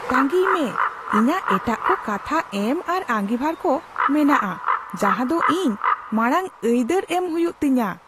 ᱛᱟᱸᱜᱤᱭ ᱢᱮ, ᱤᱧᱟᱜ ᱮᱴᱟᱜ ᱠᱚ ᱠᱟᱛᱷᱟ ᱮᱢ ᱟᱨ ᱟᱸᱜᱤᱵᱷᱟᱨ ᱠᱚ ᱢᱮᱱᱟᱜᱼᱟ ᱡᱟᱦᱟ ᱫᱚ ᱤᱧ ᱢᱟᱲᱟᱝ ᱟᱹᱭᱫᱟᱹᱨ ᱮᱢ ᱦᱩᱭᱩᱜ ᱛᱤᱧᱟ ᱾